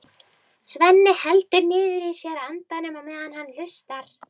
Svenni heldur niðri í sér andanum á meðan hann hlustar.